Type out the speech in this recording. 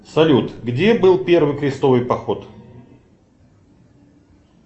салют где был первый крестовый поход